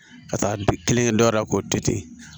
Ka taa don kelen dɔ la k'o to ten